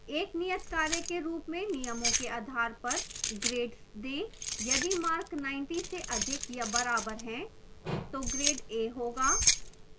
एक नियतकार्य के rules में नियमों के आधार पर grades देः यदि मार्क 90 से अधिक या बराबर हैं तो grades a होगा